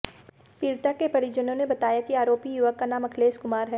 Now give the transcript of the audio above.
पीड़िता के परिजनों ने बताया कि आरोपी युवक का नाम अखिलेश कुमार है